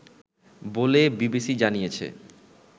বলে বিবিসি জানিয়েছে